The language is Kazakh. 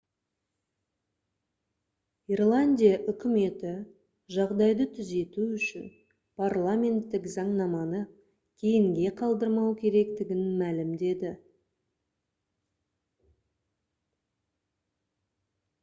ирландия үкіметі жағдайды түзету үшін парламенттік заңнаманы кейінге қалдырмау керектігін мәлімдеді